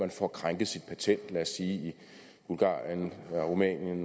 får krænket sit patent i lad os sige bulgarien rumænien